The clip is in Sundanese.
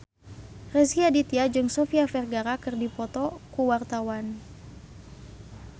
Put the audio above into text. Rezky Aditya jeung Sofia Vergara keur dipoto ku wartawan